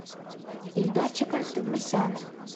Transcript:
ильдарчика товмасяна